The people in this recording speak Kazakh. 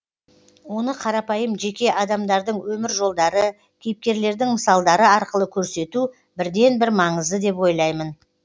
оны қарапайым жеке адамдардың өмір жолдары кейіпкерлердің мысалдары арқылы көрсету бірден бір маңызды деп ойлаймын